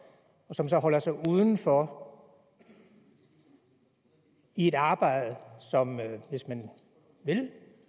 og som så holder sig uden for et arbejde som hvis man vil